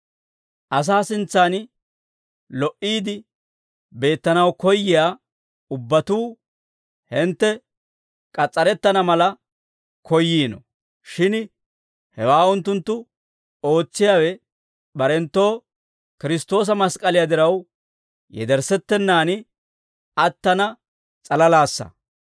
Asaa sintsan lo"iide beettanaw koyyiyaa ubbatuu, hintte k'as's'arettana mala koyyiino; shin hewaa unttunttu ootsiyaawe barenttoo Kiristtoosa mask'k'aliyaa diraw yederssettenaan attana s'alalaassa.